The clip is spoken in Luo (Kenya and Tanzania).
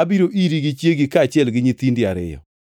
abiro iri gi chiegi kaachiel gi nyithindi ariyo.”